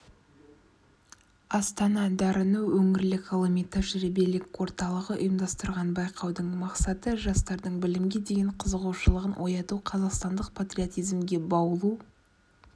астана дарыны өңірлік ғылыми-тәжірибелік орталығы ұйымдастырған байқаудың мақсаты жастардың білімге деген қызығушылығын ояту қазақстандық патриотизмге баулу